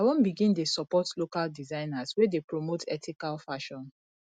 i wan begin dey support local designers wey dey promote ethical fashion